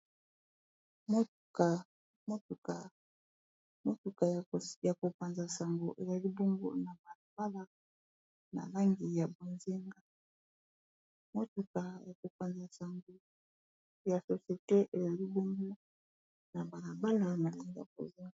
Motuka, Motuka ya kopanza nsango ezali bongo na balabala na langi ya bozenga, motuka ya kopanza nsango ya societe ezali bongo na balabala nalangi ya bonzinga.